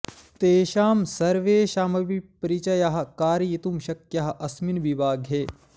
तेषां सर्वेषाम् अपि परिचयः कारयितुं शक्यः अस्मिन् विभागे